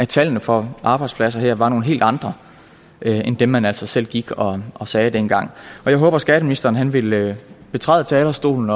tallene for arbejdspladser her var nogle helt andre end dem man altså selv gik og og sagde dengang jeg håber at skatteministeren vil betræde talerstolen